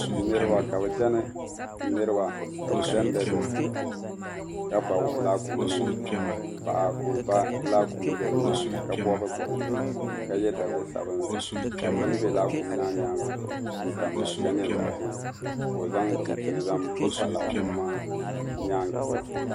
Niriba ka bi chani dazeetini ka ba laakunima paɣa ka o ba laakum m be nyaaŋa ka bobi bobi ʒee ka ye daliya sabinli ka bini be laakum maa nyaaŋa zuɣu n tamya ka nye zaɣʒee ka o zaŋ chinchi n zaŋ pa laakum maa nyaaŋa polo.